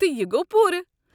تہٕ یہِ گوٚو پوٗرٕ؟